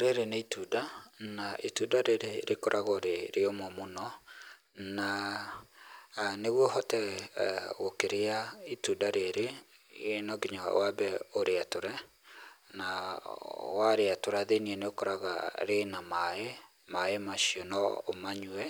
Rĩrĩ nĩ itunda na itunda rĩrĩ rĩkoragwo rĩrĩũmũ mũno. Na nĩguo ũhote gũkĩria itunda rĩrĩ no nginya wambe ũrĩatũre, nawarĩatũra thĩiniĩ nĩ ũkoraga rĩ na maaĩ, maaĩ macio no ũmanyue,